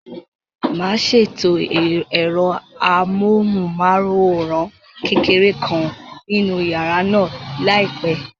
Màá ṣètò ẹ̀rọ amóhùnmáwòrán kékeré kan nínú yàrá náà láìpẹ́.